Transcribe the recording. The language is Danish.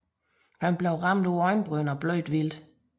Han blev ramt på øjenbrynet og blødte stærkt